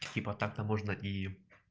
типа так-то можно и